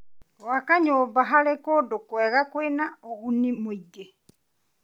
Gwaka nyũmba harĩ kũndũ kwega kwĩna ũguni mũingĩ.